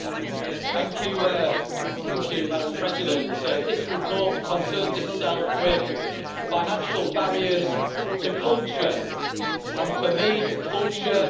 Madam President, this report concerns itself with financial barriers to culture, and for me, culture includes football.